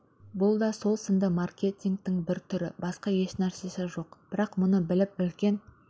бұл да сол сынды маркетингтің бір түрі басқа ешнәрсесі жоқ бірақ мұны біліп үлкен